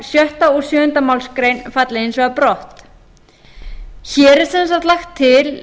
sjötta og sjöunda málsgrein falli hins vegar brott hér er sem sagt lagt til